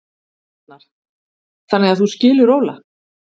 Arnar: Þannig að þú skilur Óla?